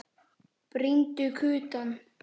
Brýndu kutann.